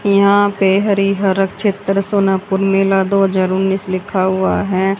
यहां पे हरिहरक क्षेत्र सोनापुर मेला दो हजार उन्नीस लिखा हुआ है।